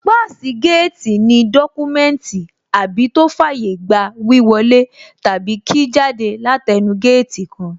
Páàsì géètì ní dọ́kúmẹ́ùntì àbí tó fàyé gba wíwọ lé tàbí kí jáde látẹẹnu géètì kan